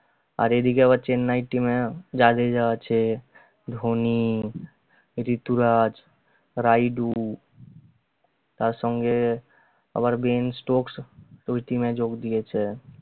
আর এদিকে আবার চেন্নাই team এ জাদেজা আছে, ধোনী, ঋতু রাজ, রাইডু তার সঙ্গে আবার বেইন স্টোকস ওই team এ যোগ দিয়েছে